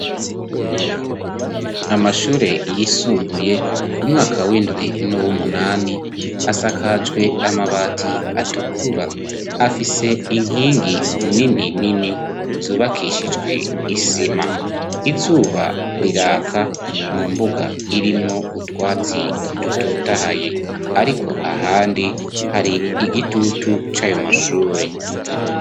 Amashure yisumbuye, umwaka w'indwi n'uw'umunani, asakajwe amabati atukura. Afise inkingi nini nini zubakishijwe isima. Izuba riraka mu mbuga irimwo utwatsi dutotahaye ariko ahandi hari igitutu c'ayo mashure.